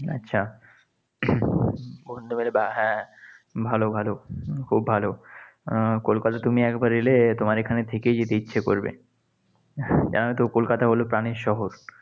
আচ্ছা, হ্যাঁ, ভালো, ভালো। খুব ভালো। আহ কলকাতায় তুমি একবার এলে তোমার এখানে থেকেই যেতে ইচ্ছে করবে। জানতো কলকাতা হলো প্রাণের শহর।